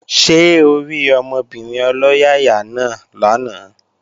Ṣé orí ọmọbìnrin ọlọ́yàyà náà lánàá?